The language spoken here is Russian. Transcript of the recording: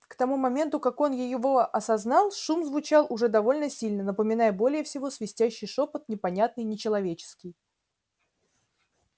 к тому моменту как он его осознал шум звучал уже довольно сильно напоминая более всего свистящий шёпот непонятный нечеловеческий